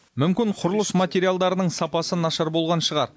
мүмкін құрылыс материалдарының сапасы нашар болған шығар